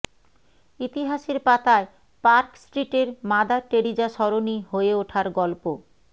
ইতিহাসের পাতায় পার্ক স্ট্রিটের মাদার টেরিজা সরণী হয়ে ওঠার গল্প